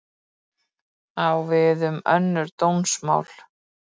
Á við önnur dómsmál